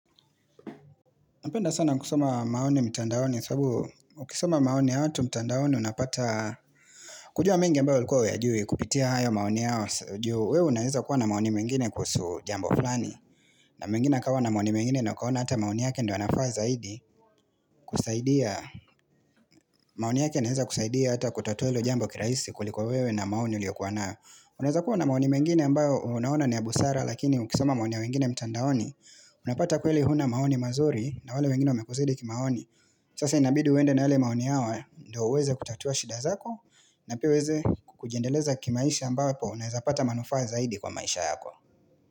Napenda sana kusoma maoni mtandaoni sababu ukisoma maoni ya watu mtandaoni unapata kujua mengi ambao ulikuwa huyajui kupitia hayo maoni yao juu wewe unaeza kuwa na maoni mengine kuhusu jambo fulani na mengine akawa na maoni mengine na ukaona hata maoni yake ndio yanafaa zaidi kusaidia maoni yake inaeza kusaidia hata kutatua hilo jambo kirahisi kuliko wewe na maoni uliyokuwa nayo Unaeza kuwa na maoni mengine ambao unaona ni ya busara lakini ukisoma maoni ya wengine mtandaoni Unapata kweli huna maoni mazuri na wale wengine wamekuzidi kimaoni Sasa inabidi uende na yale maoni yao ndio uweze kutatua shida zako na pia uweze kujiendeleza kimaisha ambapo unaeza pata manufaa zaidi kwa maisha yako.